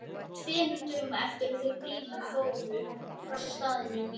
Tveimur dögum eftir að þau Grímur fóru frá staðnum lét